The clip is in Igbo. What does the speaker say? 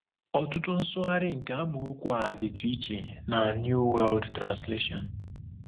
Ọtụtụ nsụgharị nke amaokwu a dịtụ iche na New World Translation.